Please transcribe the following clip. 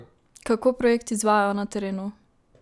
Kako projekt izvajajo na terenu?